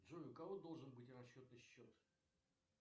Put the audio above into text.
джой у кого должен быть расчетный счет